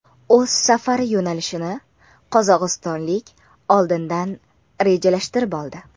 O‘z safari yo‘nalishini qozog‘istonlik oldindan rejalashtirib oldi.